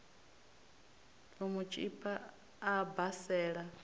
u mu tshipa a basela